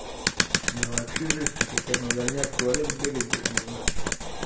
да вообще жесть теперь как на дальняк в туалет сбегать даже не знаю